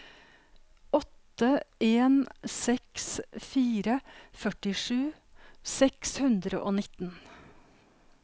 åtte en seks fire førtisju seks hundre og nitten